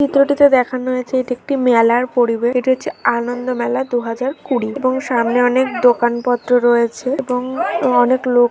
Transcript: চিত্রটিতে দেখানো হয়েছে এটি একটি মেলার পরিবেশ এটি হচ্ছে আনন্দ মেলা দু হাজার কুড়ি এবং সামনে অনেক দোকান পত্র রয়েছে এবং অনেক লোক ।